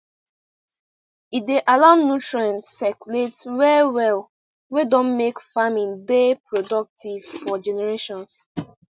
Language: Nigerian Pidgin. e dey allow nutrient circulate well well wey don make farming dey productive for generations